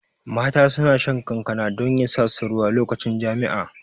Mata suna shan kankana don yasa su ruwa lokacin jami'a